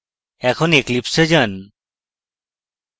এখন eclipse এ যান